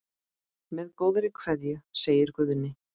Með góðri kveðju, segir Guðni.